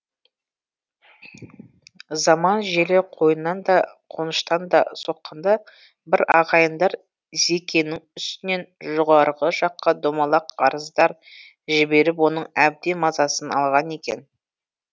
заман желі қойнынан да қоныштан да соққанда бір ағайындар зекеңнің үстінен жоғарғы жаққа домалақ арыздар жіберіп оның әбден мазасын алған екен